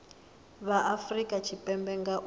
vha afurika tshipembe nga u